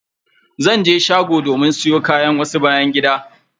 Zan je shgo domin siyo wasu kayan byan gida.